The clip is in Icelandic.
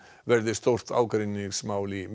verði stórt ágreiningsmál í